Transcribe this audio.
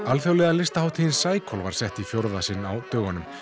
alþjóðlega listahátíðin Cycle var sett í fjórða sinn á dögunum